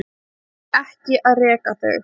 Ekki að reka þau.